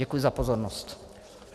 Děkuji za pozornost.